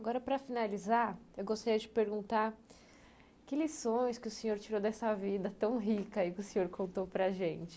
Agora, para finalizar, eu gostaria de perguntar que lições que o senhor tirou dessa vida tão rica e que o senhor contou para a gente?